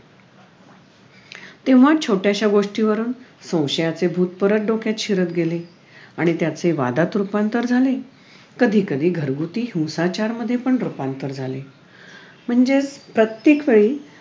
तेव्हा छोट्याश्या गोष्टीवरून संशयाचे भूत परत डोक्यात शिरत गेले आणि त्याचे वादात रूपांतर झाले कधी कधी घरगुती हिंसाचारामध्ये पण रूपांतर झाले म्हणजेच प्रत्येक वेळी